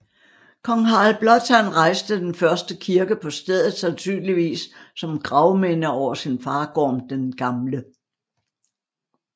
Kong Harald Blåtand rejste den første kirke på stedet sandsynligvis som gravminde over sin far Gorm den Gamle